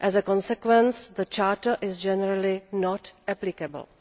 Consequently the Charter is generally not applicable.